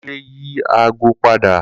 Kunle yi aago pada